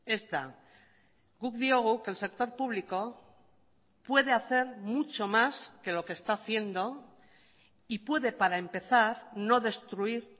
ez da guk diogu que el sector público puede hacer mucho más que lo que está haciendo y puede para empezar no destruir